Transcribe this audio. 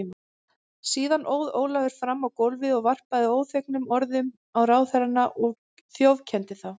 Síðan óð Ólafur fram á gólfið og varpaði óþvegnum orðum á ráðherrana og þjófkenndi þá.